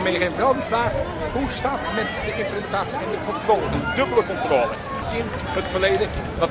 Dat wil ik u vooral meegeven, en vooral de vraag hoe staat het met de implementatie en de controle, een dubbele controle, gezien het verleden.